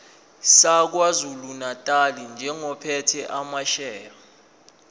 sakwazulunatali njengophethe amasheya